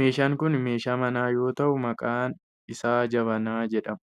meeshaan kun meeshaa manaa yoo ta'u maqaan isaa jabanaa jedhama.